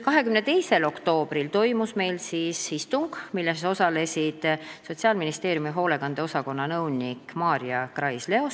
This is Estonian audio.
22. oktoobril toimus meil istung, milles osales Sotsiaalministeeriumi hoolekande osakonna nõunik Maarja Krais-Leosk.